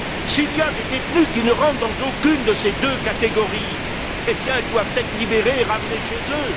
S'il y a des détenus qui ne rentrent dans aucune de ces deux catégories, eh bien, ils doivent être libérés et ramenés chez eux.